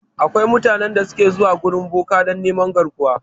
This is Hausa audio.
Akwai mutanen da su ke zuwa wurin boka dan neman garkuwa